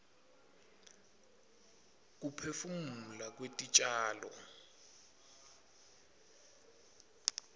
kuphefumula kwetitjalo